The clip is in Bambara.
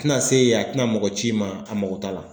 Tɛna se yen, a tɛna mɔgɔ ci i ma a mako t'a la.